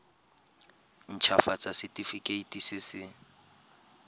nt hafatsa setefikeiti se se